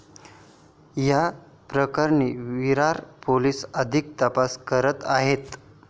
या प्रकरणी विरार पोलीस अधिक तपास करत आहेत.